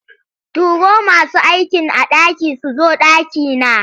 Turo masu aikin a ɗaki su zo ɗakina.